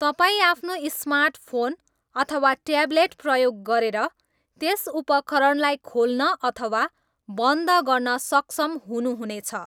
तपाईँ आफ्नो smart phone अथवा ट्याबलेट प्रयोग गरेर त्यस उपकरणलाई खोल्न अथवा बन्द गर्न सक्षम हुनुहुने छ